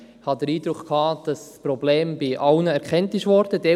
Ich hatte den Eindruck, dass alle das Problem erkannt haben.